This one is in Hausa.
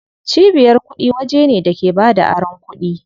Cibiyar kuɗi waje ne da ke bada aron kuɗi.